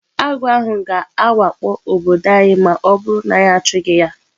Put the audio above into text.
Agụ ahụ ga-awakpo obodo anyị ma ọ bụrụ na anyị achụghị ya.